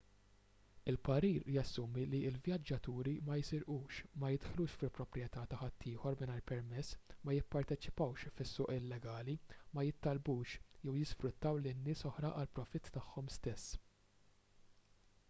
il-parir jassumi li l-vjaġġaturi ma jisirqux ma jidħlux fi proprjetà ta' ħaddieħor mingħajr permess ma jipparteċipawx fis-suq illegali ma jittallbux jew jisfruttaw lil nies oħra għall-profitt tagħhom stess